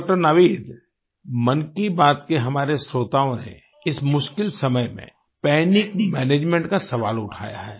doctor Naveed Mann Ki Baat के हमारे श्रोताओं ने इस मुश्किल समय में पैनिक मैनेजमेंट का सवाल उठाया है